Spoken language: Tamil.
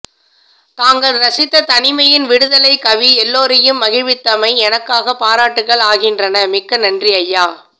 தாங்கள் ரசித்த தனிமையின் விடுதலைக் கவி எல்லோரையும் மகிழ்வித்தமை எனக்கான பாராட்டுகள் ஆகின்றன மிக்க நன்றி ஐயா